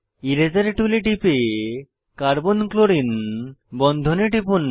এরাসের টুলে টিপে carbon chlorine বন্ধনে টিপুন